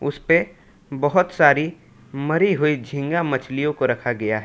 इसपे बहुत सारी मरी हुई झींगा मछलियों को रखा गया है।